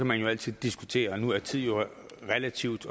man altid diskutere for nu er tid jo noget relativt